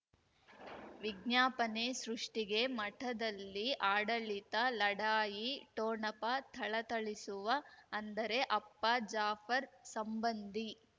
ವಿಜ್ಞಾಪನೆ ಸೃಷ್ಟಿಗೆ ಮಠದಲ್ಲಿ ಆಡಳಿತ ಲಢಾಯಿ ಠೊಣಪ ಥಳಥಳಿಸುವ ಅಂದರೆ ಅಪ್ಪ ಜಾಫರ್ ಸಂಬಂಧಿ